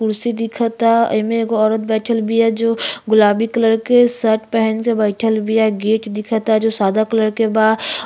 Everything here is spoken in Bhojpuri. कुर्सी दिखता। एमे एगो औरत बईठल बिया जो गुलाबी कलर के शर्ट पेहेन के बईठल बिया। गेट दिखता जो सादा कलर के बा।